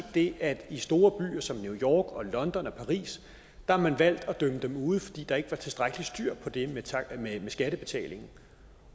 det at i store byer som new york og london og paris har man valgt at dømme dem ude fordi der ikke var tilstrækkelig styr på det med skattebetalingen